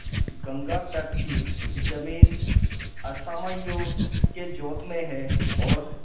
गंगातट की जमीन असामियों के जोत में है और